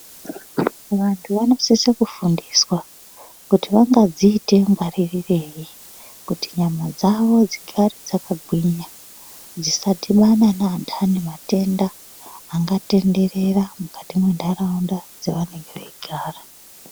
Vantu vanosise kufundiswa kuti vangadzite ngwaririrei kuti nyama dzavo dzigare dzakagwinya. Dzisadhibane neandani matenda angatenderera mukati mwenharaunda yavanenge veigara.